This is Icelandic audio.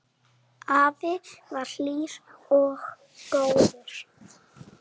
Afi var hlýr og góður.